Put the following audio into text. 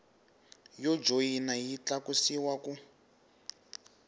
yo joyina yi tlakusiwa ku